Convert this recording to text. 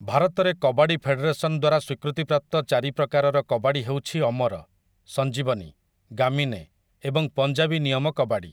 ଭାରତରେ କବାଡ଼ି ଫେଡେରେସନ୍ ଦ୍ୱାରା ସ୍ୱୀକୃତିପ୍ରାପ୍ତ ଚାରି ପ୍ରକାରର କବାଡ଼ି ହେଉଛି ଅମର, ସଞ୍ଜୀବନୀ, ଗାମିନେ ଏବଂ ପଞ୍ଜାବୀ ନିୟମ କବାଡ଼ି ।